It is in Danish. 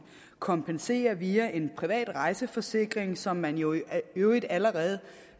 kompensere via en privat rejseforsikring som man jo i øvrigt allerede